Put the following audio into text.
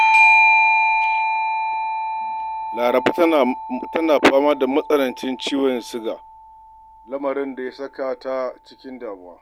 Laraba tana fama da matsalar ciwon siga, lamarin da ya saka ta cikin damuwa.